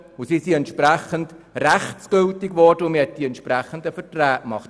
Dementsprechend wurden sie rechtsgültig, und man konnte die entsprechenden Verträge machen.